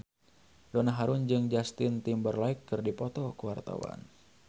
Donna Harun jeung Justin Timberlake keur dipoto ku wartawan